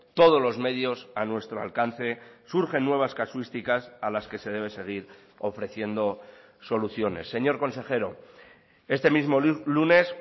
todos los medios a nuestro alcance surgen nuevas casuísticas a las que se debe seguir ofreciendo soluciones señor consejero este mismo lunes